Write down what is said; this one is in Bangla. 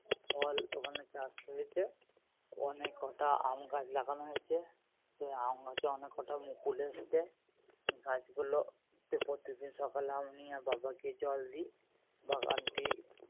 ফল ওখানে চাষ হয়েছে। অনেক কটা আমি গাছ লাগানো হয়েছে তো ওই আম গাছে অনেক কটা মুকুল এসছে গাছ গুলোতে প্রত্যেকদিন সকালে আমি আর বাবা গিয়ে জল দিই বাগানটি